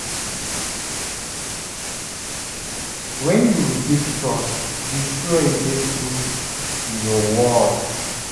Wen yu rebuild trust, be sure yu dey true to yur word.